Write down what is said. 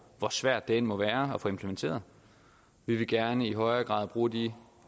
hvor svært det end må være at få implementeret vi vil gerne i højere grad bruge de